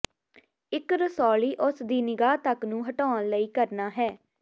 ਇੱਕ ਰਸੌਲੀ ਉਸ ਦੀ ਨਿਗਾਹ ਤੱਕ ਨੂੰ ਹਟਾਉਣ ਲਈ ਕਰਨਾ ਹੈ